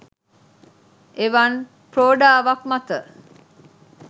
එවන් ප්‍රෝඩාවක් මත